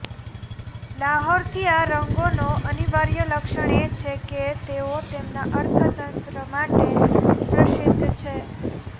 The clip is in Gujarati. લાહોરથી આ રંગોનો અનિવાર્ય લક્ષણ એ છે કે તેઓ તેમના અર્થતંત્ર માટે પ્રસિદ્ધ છે